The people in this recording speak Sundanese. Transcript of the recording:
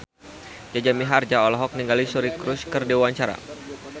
Jaja Mihardja olohok ningali Suri Cruise keur diwawancara